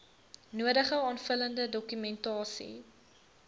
nodige aanvullende dokumentasie